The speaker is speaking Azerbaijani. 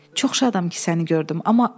Çox şadam ki, səni gördüm.